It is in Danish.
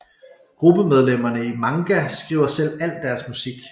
Gruppemedlemmerne i maNga skriver selv al deres musik